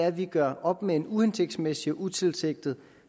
at vi gør op med en uhensigtsmæssig og utilsigtet